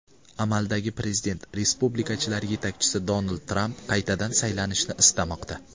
Amaldagi prezident, respublikachilar yetakchisi Donald Tramp qaytadan saylanishni istamoqda.